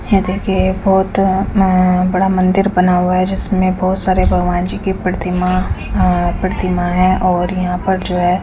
ये देखिए- बहत बड़ा मंदिर बना हुआ है जिसमे बहत सरे भगबान जी के प्रतिमा प्रतिमा है और यहाँ पर जो है--